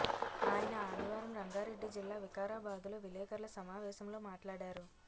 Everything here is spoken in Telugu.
ఆయన ఆధివారం రంగారెడ్డి జిల్లా వికారాబాదులో విలేకర్ల సమావేశంలో మాట్లాడారు